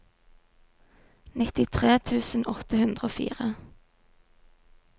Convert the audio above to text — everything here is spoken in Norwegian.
nittitre tusen åtte hundre og fire